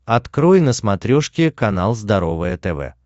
открой на смотрешке канал здоровое тв